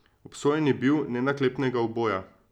Obsojen je bil nenaklepnega uboja.